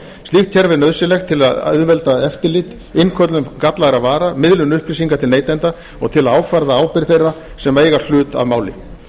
slíkt kerfi er nauðsynlegt til að auðvelda eftirlit innköllun gallaðra vara miðlun upplýsinga til neytenda og til að ákvarða ábyrgð þeirra sem eiga hlut að máli